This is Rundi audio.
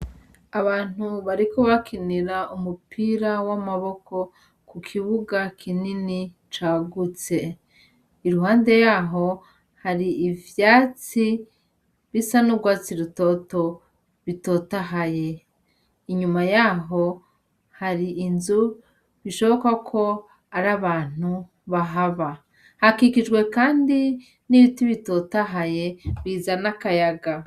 Abantu bariko bakinira umupira w'amaboko ku kibuga kinini cagutse, iruhande yaho hari ivyatsi bisa n'urwatsi rutoto bitotahaye, inyuma yaho hari inzu bishoboka ko ari abantu bahaba, hakikijwe kandi n'ibiti bitotahaye bizana akayaga.